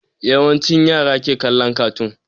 Yawancin yara ke kallon kartoon